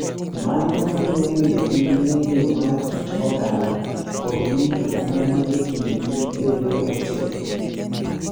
Mano miyo bedo gi ng’eyo mar kit oganda kod winjruok ma ni e kindgi bedo motegno.